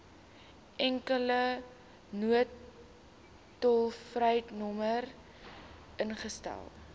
enkele noodtolvrynommer ingestel